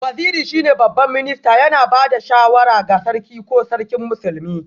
Waziri shine Babban Minista, yana ba da shawara ga Sarki ko Sarkin Musulmi